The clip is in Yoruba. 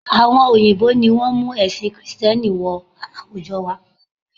Àwọn òyìnbó ni wọ́n mú ẹ̀sìn kìtẹ́nì wọ àwùjọ wa